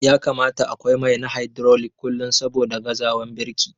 Ya kamata akwai mai na hydrolic kullum saboda gazawan birki.